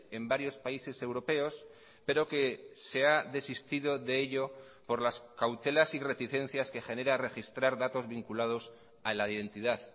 en varios países europeos pero que se ha desistido de ello por las cautelas y reticencias que genera registrar datos vinculados a la identidad